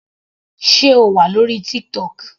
Sé O wà lórí TikTok.